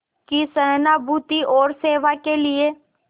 की सहानुभूति और सेवा के लिए